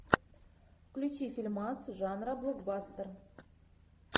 включи фильмас жанра блокбастер